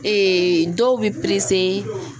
dɔw bɛ